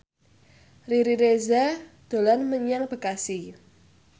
Riri Reza dolan menyang Bekasi